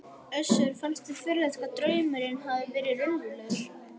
Össuri fannst furðulegt hvað draumurinn hafði verið raunverulegur.